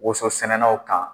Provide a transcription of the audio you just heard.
Woso sɛnɛnanw kan